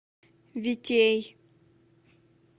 витей